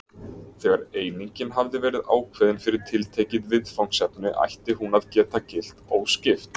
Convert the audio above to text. Þegar einingin hafði verið ákveðin fyrir tiltekið viðfangsefni ætti hún að geta gilt óskipt.